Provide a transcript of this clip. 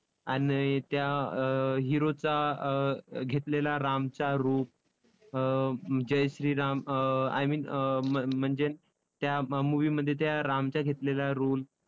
आणि त्या अं hero चा अं घेतलेला रामचा रूप अं Jai Shri Ram um I mean um म्हणजे त्या movie मध्ये त्या रामचा घेतलेला role